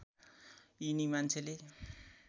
यिनी मान्छेले